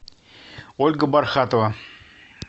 ольга бархатова